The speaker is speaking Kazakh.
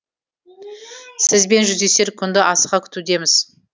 сізбен жүздесер күнді асыға күтудеміз